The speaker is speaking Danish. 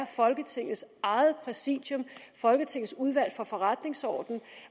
folketingets eget præsidium folketingets udvalg for forretningsordenen